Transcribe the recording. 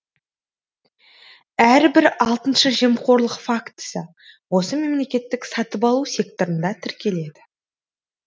әрбір алтыншы жемқорлық фактісі осы мемлекеттік сатып алу секторында тіркеледі